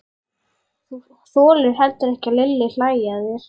Þú þolir heldur ekki að Lilli hlæi að þér.